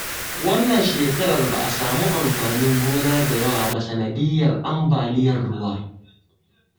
Wannan shekarar ba a samu amfanin gona da yawa ba sanadiyyar ambaliyar ruwa